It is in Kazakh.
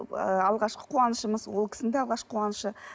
ы алғашқы қуанышымыз ол кісінің да алғашқы қуанышы